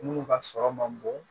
Minnu ka sɔrɔ man bon